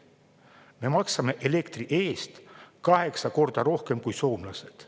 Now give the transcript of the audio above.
Me maksame elektri eest kaheksa korda rohkem kui soomlased.